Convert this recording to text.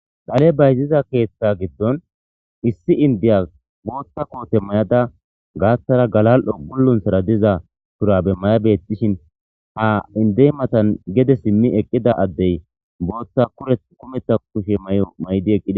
Dhale bayziza keeththa giddon issi indiya bootta koote may7ada gaatthara galal7o gullunthara diza shurabe maya beetishin ha indey matan gede simmi eqqida addey booththa kureth kumetha kushe may7o may7di eqqida.